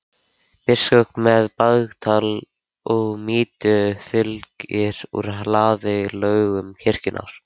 Biskup með bagal og mítru fylgir úr hlaði lögum kirkjunnar.